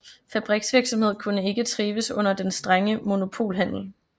Fabriksvirksomhed kunne ikke trives under den strenge monopolhandel